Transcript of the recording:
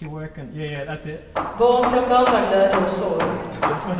Barn kan blanda glädje och sorg.